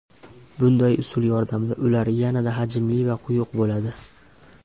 Bunday usul yordamida ular yanada hajmli va quyuq bo‘ladi.